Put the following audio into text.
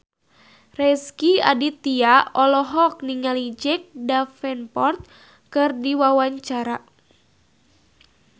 Rezky Aditya olohok ningali Jack Davenport keur diwawancara